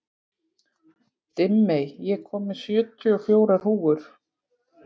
Dimmey, ég kom með sjötíu og fjórar húfur!